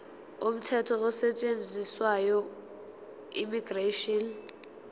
umthetho osetshenziswayo immigration